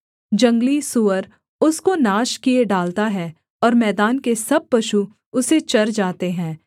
जंगली सूअर उसको नाश किए डालता है और मैदान के सब पशु उसे चर जाते हैं